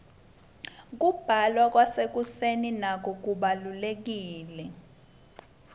kubla kwasekuseni nako kubalurekile